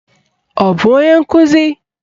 Ọ bụ onye nkuzi?